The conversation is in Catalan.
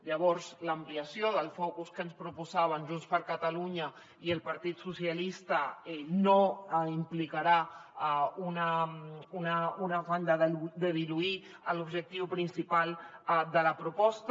llavors l’ampliació del focus que ens proposaven junts per catalunya i el partit socialistes no implicarà un afany de diluir l’objectiu principal de la proposta